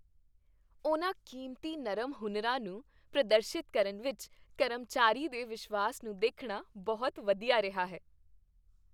ਉਹਨਾਂ ਕੀਮਤੀ ਨਰਮ ਹੁਨਰਾਂ ਨੂੰ ਪ੍ਰਦਰਸ਼ਿਤ ਕਰਨ ਵਿੱਚ ਕਰਮਚਾਰੀ ਦੇ ਵਿਸ਼ਵਾਸ ਨੂੰ ਦੇਖਣਾ ਬਹੁਤ ਵਧੀਆ ਰਿਹਾ ਹੈ।